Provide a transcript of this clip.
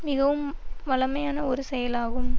மிகவும் வழமையான ஒரு செயலாகும்